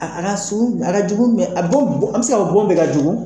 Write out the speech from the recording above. A a ka son a ka jugun a dɔw do an bɛ se ka fɔ dɔw de ka jugun